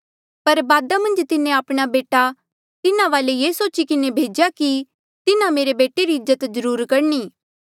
पर बादा मन्झ तिन्हें आपणा बेटा तिन्हा वाले ये सोची किन्हें भेज्या कि तिन्हा मेरे बेटे री इज्जत ज्रूर करणी